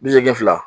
Bi seegin fila